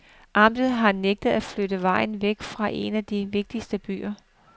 Amtet har nægtet at flytte vejen væk fra en af de vigtigste byer.